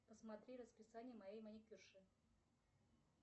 посмотри расписание моей маникюрши